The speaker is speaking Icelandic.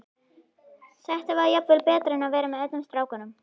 Þetta var jafnvel betra en að vera með öllum strákunum.